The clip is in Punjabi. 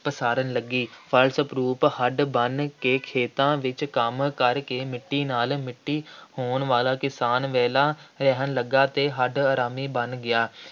ਪਸਾਰਨ ਲੱਗੀ, ਫਲਸਰੂਪ ਹੱਡ ਭੰਨ ਕੇ ਖੇਤਾਂ ਵਿੱਚ ਕੰਮ ਕਰਕੇ ਮਿੱਟੀ ਨਾਲ ਮਿੱਟੀ ਹੋਣ ਵਾਲਾ ਕਿਸਾਨ ਵਿਹਲਾ ਰਹਿਣ ਲੱਗਾ ਅਤੇ ਹੱਡ-ਹਰਾਮੀ ਬਣ ਗਿਆ,